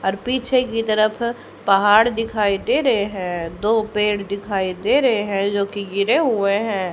अर पीछे की तरफ पहाड़ दिखाई दे रहे है दो पेड़ दिखाई दे रहे है जोकि गिरे हुए है।